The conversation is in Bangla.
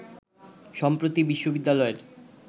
সম্প্রতি বিশ্ববিদ্যালয়ের